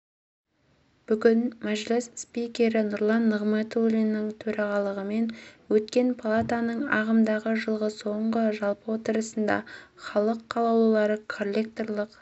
бүгін мәжіліс спикері нұрлан нығматулиннің төрағалығымен өткен палатаның ағымдағы жылғы соңғы жалпы отырысында халық қалаулылары коллекторлық